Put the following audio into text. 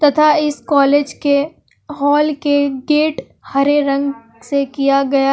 तथा इस कॉलेज के हाल के गेट हरे रंग से किया गया--